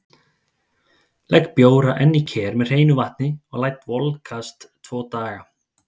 Legg bjóra enn í ker með hreinu vatni og lát volkast tvo daga.